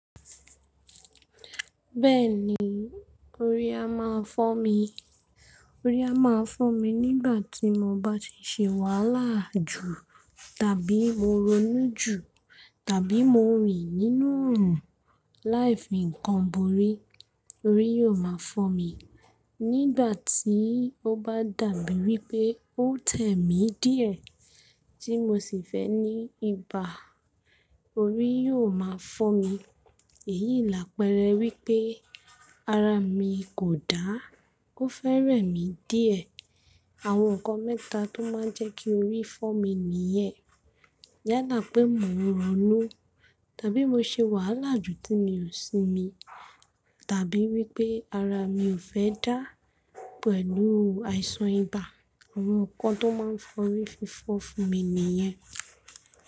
Bẹ́ẹ̀ni, orí á máa fọ́ mi, orí á máa fọ́ mi nígbà tí mo bá ti ṣe wàhálà jù, tàbí mo ronú jù, tàbí mo rìn nínú òòrùn. Láìdi nǹkan borí, orí yóò máa fọ́ mi. Nígbà tí ó bá dàbí wí pé ó tẹ̀ mí díẹ̀ tí mo sì fẹ́ ní ibà, orí yóò máa fọ́ mi. Èyí làpẹrẹ wípé ara mi kò dá, ó fẹ́ rẹ̀ mí díẹ̀. Àwọn nǹkan mẹ́ta tó máa ń jẹ́ kí orí fọ́ mi nìyẹn. Yálà pé mò ń ronú, tàbí mo ṣe wàhálà jù tí mi ò sinmi, tàbí wípé ara mi ò fẹ́ dá pẹ̀lú àìsàn ibà. Àwọn nǹkan tó máa ń fa orí fífọ́ fún mi nìyẹn.